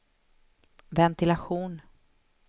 ventilation